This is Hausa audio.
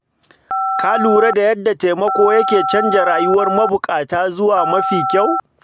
Ka lura da yadda taimako ke canza rayuwar mabukata zuwa mafi kyau.